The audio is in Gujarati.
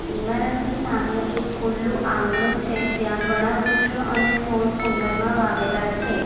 ઈમારતની સામે એક ખુલ્લુ આંગણું છે જ્યાં ઘણા વૃક્ષો અને છોડ કુંડામાં વાવેલા છે.